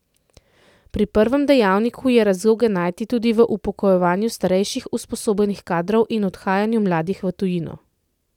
Pri prvem dejavniku je razloge najti tudi v upokojevanju starejših usposobljenih kadrov in odhajanju mladih v tujino.